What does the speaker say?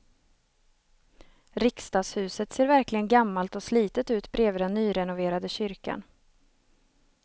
Riksdagshuset ser verkligen gammalt och slitet ut bredvid den nyrenoverade kyrkan.